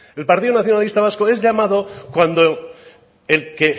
el partido nacionalista vasco es llamado cuando el que